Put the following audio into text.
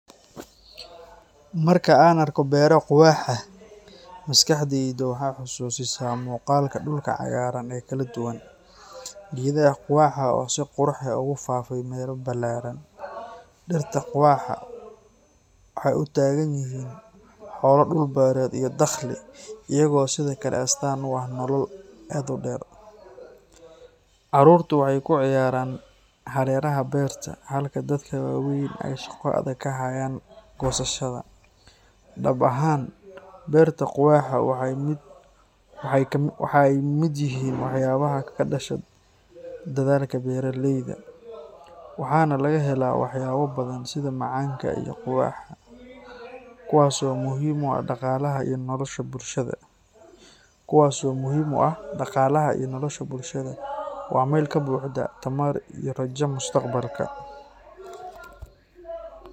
Marka aan arko beero quwaxa, maskaxdaydu waxay xusuusisaa muuqaalka dhulka cagaaran ee kala duwan, geedaha quwaxa oo si qurux badan ugu faafay meelo ballaaran. Dhirta quwaxa waxay u taagan yihiin xoolo dhul-beereed iyo dakhli, iyagoo sidoo kale astaan u ah nolol aad u dheer. Carruurtu waxay ku ciyaaraan hareeraha beerta, halka dadka waaweyn ay shaqo adag ka hayaan goosashada. Dhab ahaan, beerta quwaxa waxay ka mid yihiin waxyaabaha ka dhasha dadaalka beeraleyda, waxaana laga helaa waxyaabo badan sida macaanka iyo quwaxa, kuwaas oo muhiim u ah dhaqaalaha iyo nolosha bulshada. Waa meel ka buuxda tamar iyo rajada mustaqbalka.